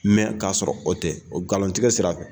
ka sɔrɔ o tɛ ngalontigɛ sira fɛ.